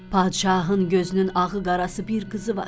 Padişahın gözünün ağı-qarası bir qızı var.